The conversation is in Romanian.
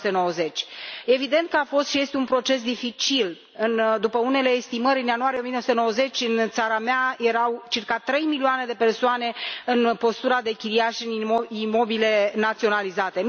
1990. Evident că a fost și este un proces dificil, după unele estimări, în ianuarie 1990, în țara mea erau circa trei milioane de persoane în postura de chiriași în imobile naționalizate.